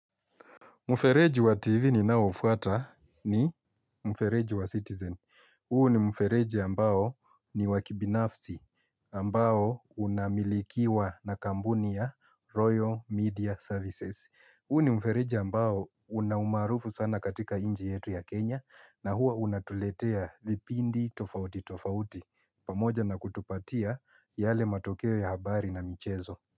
Mfereji wa TV ninaofuata ni mfereji wa Citizen. Huu ni mfereji ambao ni wa kibinafsi ambao unamilikiwa na kampuni ya Royal Media Services. Huu ni mfereji ambao una umaarufu sana katika nchi yetu ya Kenya na hua unatuletea vipindi tofauti tofauti. Pamoja na kutupatia yale matokeo ya habari na michezo.